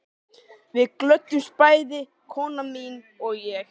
Við glöddumst bæði, kona mín og ég